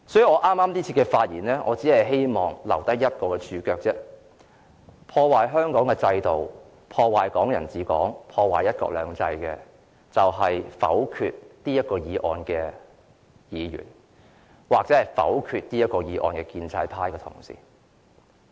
我這次發言，只希望留下一個註腳，即破壞香港的制度、"港人治港"、"一國兩制"的人就是否決這項議案的議員，或否決這項議案的建制派同事。